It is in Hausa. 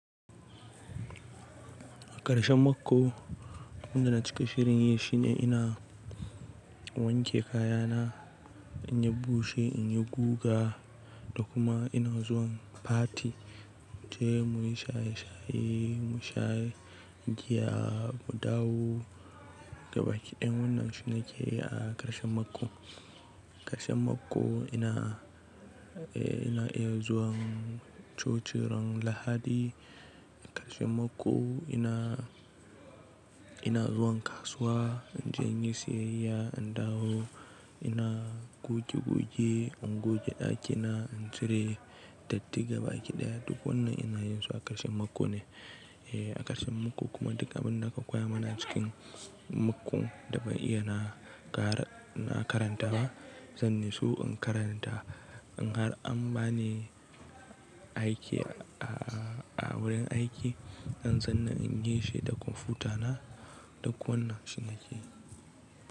A ƙarshen mako, abin da na cika shirin yi shine ina wanke kayana, in ya bushe, in yi guga da kuma ina zuwan fati. Mu yi shaye-shaye, mu sha giya, mu dawo. Gabaki ɗaya wannan shi ne ke yi a ƙarshen mako. A ƙarshen mako ina, eh ina iya zuwan cocin ran Lahadi. A ƙarshen mako ina, ina zuwan kasuwa in je in yi siyayya, in dawo ina goge-goge, in goge ɗakina, in cire dattiga gaba ɗaya. Duk wannan ina yin su a ƙarshen mako ne. Eh, a ƙarshen mako kuma duk abin da aka koya mana cikin makon da ban iya na kara na karanta ba, zan yi so in karanta. In har an ba ni aiki a a wurin aiki, zan zanna in yi shi da kwamfutana duk wannan shi na ke yi.